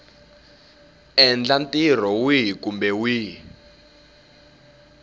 endla ntirho wihi kumbe wihi